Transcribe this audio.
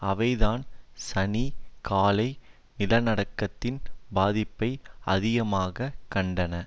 அவைதான் சனி காலை நிலநடுக்கத்தின் பாதிப்பை அதிகமாக கண்டன